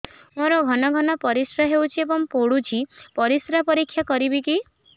ମୋର ଘନ ଘନ ପରିସ୍ରା ହେଉଛି ଏବଂ ପଡ଼ୁଛି ପରିସ୍ରା ପରୀକ୍ଷା କରିବିକି